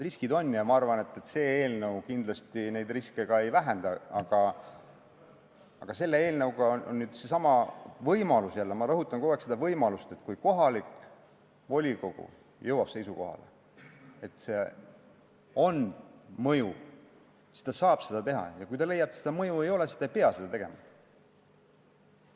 Ma arvan, et see eelnõu kindlasti neid riske ka ei vähenda, aga selle eelnõuga tekib see võimalus , et kui kohalik volikogu jõuab seisukohale, et see on mõjuv, siis ta saab seda teha, ja kui ta leiab, et seda mõju ei ole, siis ta ei pea seda tegema.